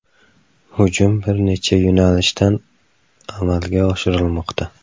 Hujum bir necha yo‘nalishdan amalga oshirilmoqda.